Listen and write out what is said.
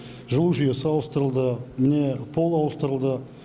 жылу жүйесі ауыстырылды міне пол ауыстырылды